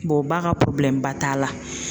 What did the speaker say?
u ba ka ba t'a la.